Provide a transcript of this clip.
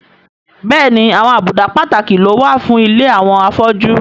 Bẹ́ẹ̀ni àwọn àbùdá pàtàkì ló wà fún ilé àwọn afọ́jú